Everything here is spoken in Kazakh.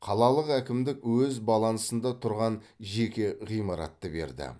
қалалық әкімдік өз балансында тұрған жеке ғимаратты берді